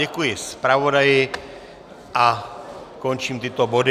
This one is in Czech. Děkuji zpravodaji a končím tyto body.